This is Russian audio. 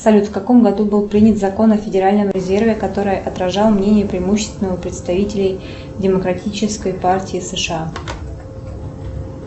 салют в каком году был принят закон о федеральном резерве который отражал мнение преимущественного представителей демократической партии сэшэа